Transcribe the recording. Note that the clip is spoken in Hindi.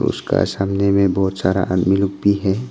उसका सामने में बहुत सारा आदमी लोग भी है।